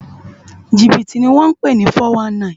Jibiti ni wòn pé ni fòwánní